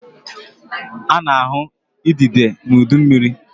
A na-ahụ idide n'udu mmiri.